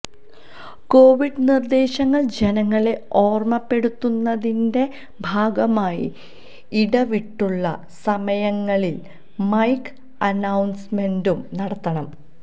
Covid നിർദ്ദേശങ്ങൾ ജനങ്ങളെ ഓർമ്മപ്പെടുത്തുന്നതിന്റെ ഭാഗമായി ഇടവിട്ടുള്ള സമയങ്ങളിൽ മൈക്ക് അനൌൺസ്മെന്റും നടത്തണം